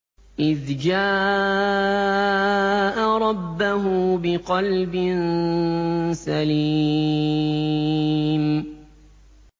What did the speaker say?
إِذْ جَاءَ رَبَّهُ بِقَلْبٍ سَلِيمٍ